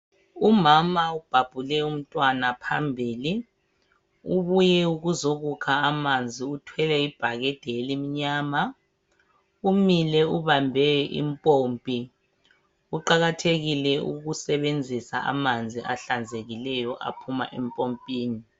Umama ubhabhule umntwana phambili ubuye ukuzokukha amanzi uthwele ibhakede elimnyama umile ubambe impompi kuqakathekile ukusebenzisa amanzi ahlanzekileyo aphuma empompini.